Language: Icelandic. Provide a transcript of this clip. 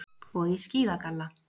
Og í skíðagalla.